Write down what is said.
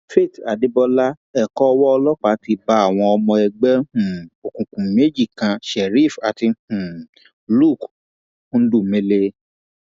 faith adébọlá ẹkọ owó ọlọpàá ti bá àwọn ọmọ ẹgbẹ um òkùnkùn méjì kan sheriff àti um luc ńdùlùmẹ